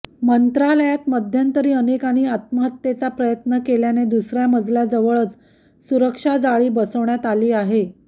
मंत्रालयात मध्यंतरी अनेकांनी आत्महत्येचा प्रयत्न केल्याने दुसऱ्या मजल्याजवळच सुरक्षा जाळी बसवण्यात आली आहे